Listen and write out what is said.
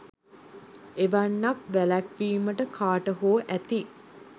එවැන්නක් වැළැක්විමට කාට හෝ ඇති